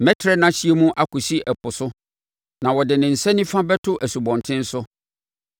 Mɛtrɛ nʼahyeɛ mu akɔsi ɛpo so, na ɔde ne nsa nifa bɛto nsubɔntene so.